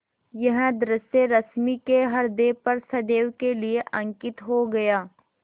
यह दृश्य रश्मि के ह्रदय पर सदैव के लिए अंकित हो गया